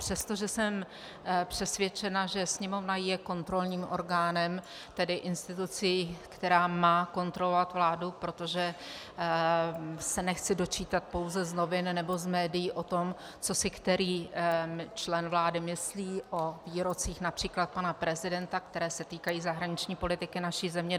Přestože jsem přesvědčena, že Sněmovna je kontrolním orgánem, tedy institucí, která má kontrolovat vládu, protože se nechci dočítat pouze z novin nebo z médií o tom, co si který člen vlády myslí o výrocích například pana prezidenta, které se týkají zahraniční politiky naší země.